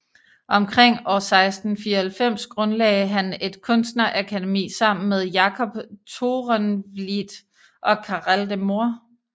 Omkring år 1694 grundlagde han et kunstnerakademi sammen med Jacob Toorenvliet og Carel de Moor